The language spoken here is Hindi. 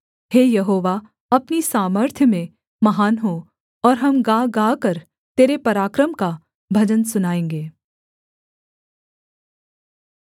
हे यहोवा अपनी सामर्थ्य में महान हो और हम गा गाकर तेरे पराक्रम का भजन सुनाएँगे